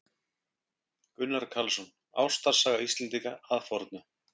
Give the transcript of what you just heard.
Gunnar Karlsson: Ástarsaga Íslendinga að fornu.